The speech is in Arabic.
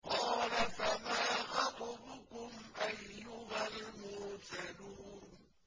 ۞ قَالَ فَمَا خَطْبُكُمْ أَيُّهَا الْمُرْسَلُونَ